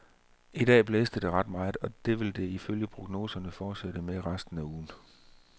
I dag blæste det ret meget, og det vil det ifølge prognoserne fortsætte med resten af ugen.